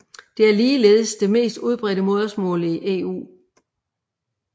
Det er ligeledes det mest udbredte modersmål i EU